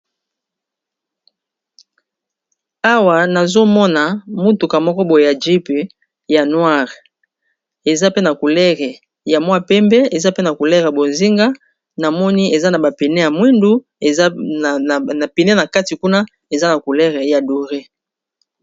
awa nazomona mutuka moko boye ya jype yanoare eza pe na culere ya mwa pembe eza pe na kulere bozinga na moni eza na bapene ya mwindu eza na pene na kati kuna eza na coulere ya douré